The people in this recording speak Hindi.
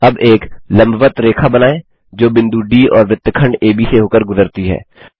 अब एक लंबवत्त रेखा बनाएँ जो बिंदु डी और वृत्तखंड एबी से होकर गुजरती है